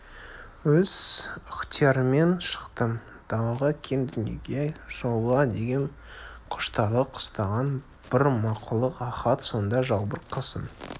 өз ықтиярыммен шықтым далаға кең дүниеге шығуға деген құштарлық қыстаған бір мақұлық ахат сонда жалбыр қасын